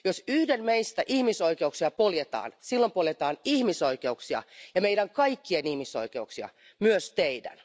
Jos yhden meistä ihmisoikeuksia poljetaan, silloin poljetaan ihmisoikeuksia ja meidän kaikkien ihmisoikeuksia, myös teidän.